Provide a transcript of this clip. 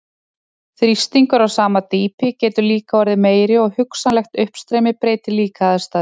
Þrýstingur á sama dýpi getur líka orðið meiri og hugsanlegt uppstreymi breytir líka aðstæðum.